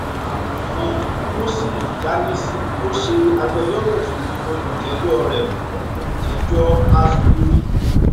amòfin moses jahnissi ló ṣe agbẹjọrò fún olùjẹjọrẹ fún olùjẹjọ aspiri